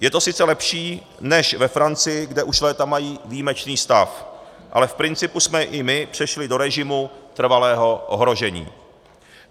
Je to sice lepší než ve Francii, kde už léta mají výjimečný stav, ale v principu jsme i my přešli do režimu trvalého ohrožení.